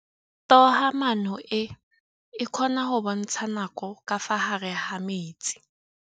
Toga-maanô e, e kgona go bontsha nakô ka fa gare ga metsi.